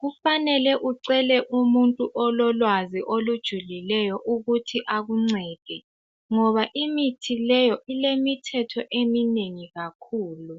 Kufanele ucele ulwazi olujulileyo ukuthi akuncede. Ngoba imithi leyo ilemithetho eminengi kakhulu.